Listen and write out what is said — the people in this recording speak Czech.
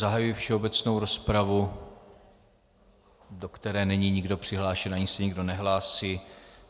Zahajuji všeobecnou rozpravu, do které není nikdo přihlášen ani se nikdo nehlásí.